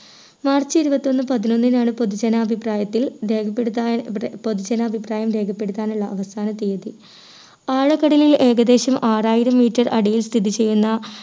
March ഇരുപത്തിയൊന്ന് പതിനൊന്നിനാണ് പൊതു ജനാഭിപ്രായത്തിൽ രേഖപ്പെടുത്താ പൊതു ജാനഭിപ്രായം രേഖപ്പെടുത്താനുള്ള അവസാന തിയ്യതി. ആഴക്കടലിൽ ഏകദേശം ആറായിരം meter അടിയിൽ സ്ഥിതി ചെയ്യുന്ന